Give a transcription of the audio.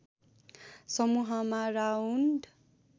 समूहमा राउन्ड